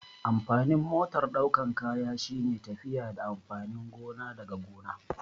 Amfanin motar ɗaukan kaya shine tafiya da amfanin gona daga gona